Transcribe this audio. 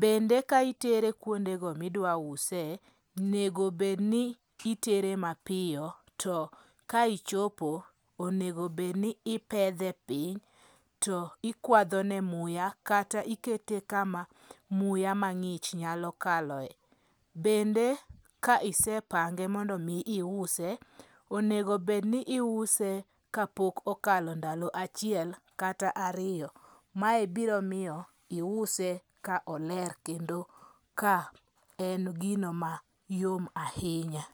Bende ka itere kuonde go midwa use, nego bedni itere mapiyo to ka ichopo onegobedni ipedhe piny to ikwadhone muya, kata ikete kama muya mang'ich nyalo kaloe. Bende kaisepange mondo mi iuse, onegobedni iuse kapok okalo ndalo achiel kata ariyo. Mae biro miyo iuse ka oler kendo ka en gino ma yom ahinya.